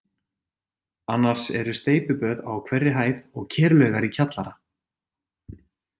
Annars eru steypiböð á hverri hæð og kerlaugar í kjallara.